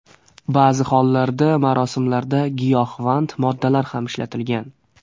Ba’zi hollarda marosimlarda giyohvand moddalar ham ishlatilgan.